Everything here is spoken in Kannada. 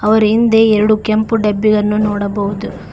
ಅವರ ಹಿಂದೆ ಎರಡು ಕೆಂಪು ಡಬ್ಬಿಯನ್ನು ನೋಡಬಹುದು.